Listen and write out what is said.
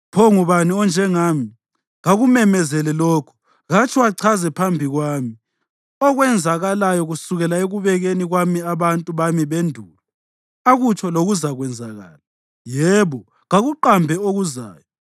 Pho ngubani onjengami? Kakumemezele lokho. Katsho, achaze phambi kwami okwenzakalayo kusukela ekubekeni kwami abantu bami bendulo; akutsho lokuzakwenzakala; yebo, kakuqambe okuzayo.